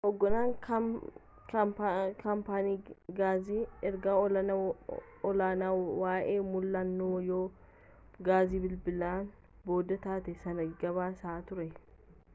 hoogganaan kaampaanii gaasii erga ollaan waa'ee mul'annoo yaa'uu gaasii bilibilan booda taatee sana gabaasaa ture